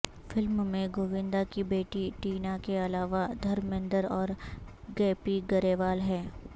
film میں گوندا کی بیٹی ٹینا کے علاوہ دھرمیندر اور گیپی گریوال ہیں